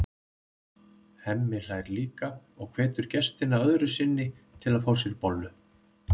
Hemmi hlær líka og hvetur gestina öðru sinni til að fá sér bollu.